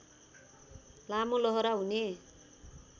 लामो लहरा हुने